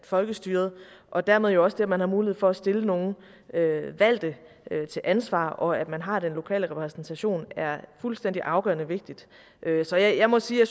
folkestyret og dermed også det at man har mulighed for at stille nogle valgte til ansvar og at man har den lokale repræsentation er fuldstændig afgørende vigtigt så jeg må sige at